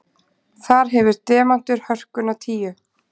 Þar hefur demantur hörkuna tíu.